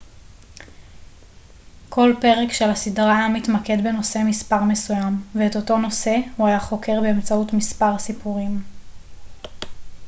כל פרק של הסדרה היה מתמקד בנושא מספר מסוים ואת אותו נושא הוא היה חוקר באמצעות מספר סיפורים